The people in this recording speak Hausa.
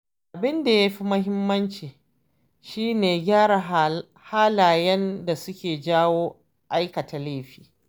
Abin da ya fi muhimmanci shi ne gyara halayen da suke jawo aikata laifi.